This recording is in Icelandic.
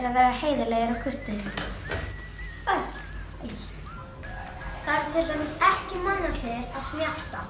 að vera heiðarlegur og kurteis sæl það eru til dæmis ekki mannasiðir að smjatta